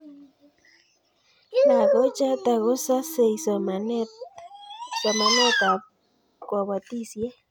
Lagochoto kososei somanetab kobotisiet